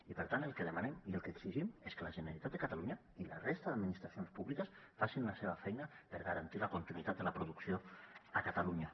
i per tant el que demanem i el que exigim és que la generalitat de catalunya i la resta d’administracions públiques facin la seva feina per garantir la continuïtat de la producció a catalunya